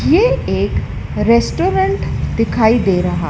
ये एक रेस्टोरेंट दिखाई दे रहा--